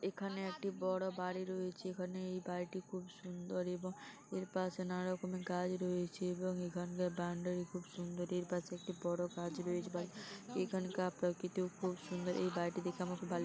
এখানে একটি বড় বাড়ি রয়েছে এখানে এই বাড়িটি খুব সুন্দর এবং এর পাশে নানা রকমের গাছ রয়েছে এবং এখানকার বাউন্ডারি খুব সুন্দর এর পাশে একটি বড় গাছ রয়েছে এখানকার প্রাকৃতিও খুব সুন্দর এই বাড়িটি দেখে আমার খুব ভাল --